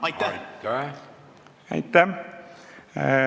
Aitäh!